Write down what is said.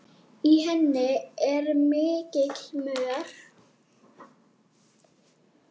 Í henni er mikill mör.